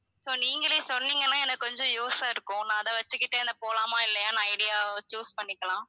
so நீங்களே சொன்னீங்கன்னா எனக்கு கொஞ்சம் use ஆ இருக்கும் நான் அத வெச்சிக்கிட்டே என்ன போலாமா இல்லையான்னு idea வ choose பண்ணிக்கலாம்